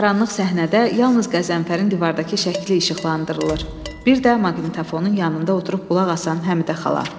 İndi qaranlıq səhnədə yalnız Qəzənfərin divardakı şəkli işıqlandırılır, bir də maqnitofonun yanında oturub qulaq asan Həmidə xala.